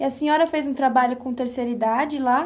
E a senhora fez um trabalho com terceira idade lá?